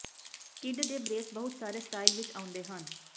kid ਦੇ brace ਬਹੁਤ ਸਾਰੇ ਸਟਾਈਲ ਵਿੱਚ ਆਉਂਦੇ ਹਨ